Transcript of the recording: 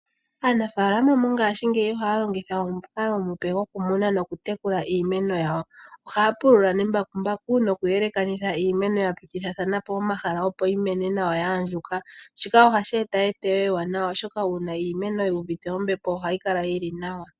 Aanafaalama mongashingeyi ohaya longitha omukalo omupe goku muna noku tekula iimeno yawo. Ohaya pulula nembakumbaku noku yelekanitha iimeno ya pitithilathana po omahala opo yi mene nawa ya andjuka. Shika ohashi eta eteyo ewanawa oshoka uuna iimeno yi uvite ombepo ohayi kala yili nawa